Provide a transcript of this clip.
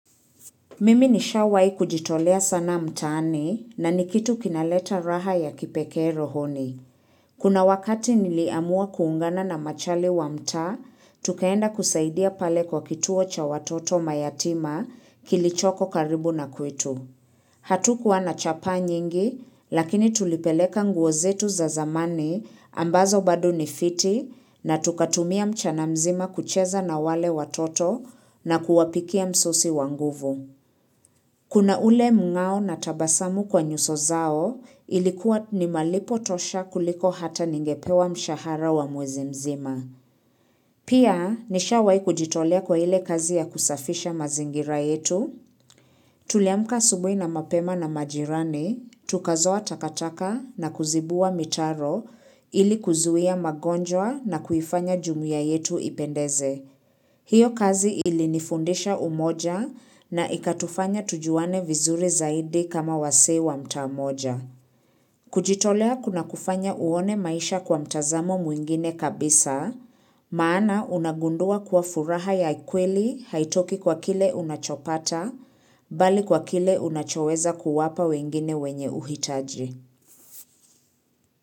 Mimi nishawahi kujitolea sana mtaani na ni kitu kinaleta raha ya kipekee rohoni. Kuna wakati niliamua kuungana na machale wa mtaa, tukaenda kusaidia pale kwa kituo cha watoto mayatima kilichoko karibu na kwetu. Hatukuwa na chapa nyingi, lakini tulipeleka nguo zetu za zamani ambazo bado ni fiti na tukatumia mchana mzima kucheza na wale watoto na kuwapikia msosi wa nguvu. Kuna ule mngao na tabasamu kwa nyuso zao ilikuwa ni malipo tosha kuliko hata ningepewa mshahara wa mwezi mzima. Pia nishawahi kujitolea kwa ile kazi ya kusafisha mazingira yetu. Tuliamka asubuhi na mapema na majirani, tukazoa takataka na kuzibua mitaro ili kuzuia magonjwa na kuifanya jumuia yetu ipendeze. Hiyo kazi ilinifundisha umoja na ikatufanya tujuane vizuri zaidi kama wasee wa mtaa moja. Kujitolea kuna kufanya uone maisha kwa mtazamo mwingine kabisa, maana unagundua kuwa furaha ya kweli haitoki kwa kile unachopata, bali kwa kile unachoweza kuwapa wengine wenye uhitaji.